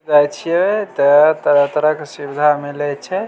जाय छीये ते तरह-तरह के सुविधा मिले छै।